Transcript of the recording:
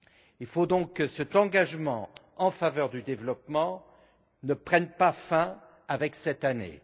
Il faut donc que cet engagement en faveur du développement ne prenne pas fin avec cette Année.